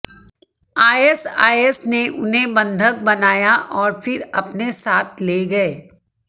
ISIS ने उन्हें बंधक बनाया और फिर अपने साथ ले गए